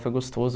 Foi gostoso.